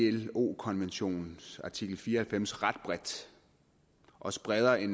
ilo konventionens artikel fire og halvfems ret bredt også bredere end